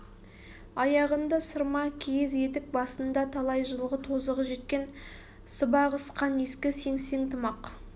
аяғында сырма киіз етік басында талай жылғы тозығы жеткен сыбағысқан ескі сеңсең тымақ